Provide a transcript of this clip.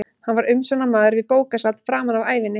Hann var umsjónarmaður við bókasafn framan af ævinni.